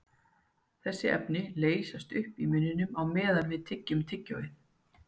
þessi efni leysast upp í munninum á meðan við tyggjum tyggjóið